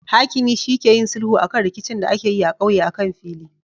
Hakimi shi ke yin sulhu akan rikicin da akeyi a ƙauye akan fili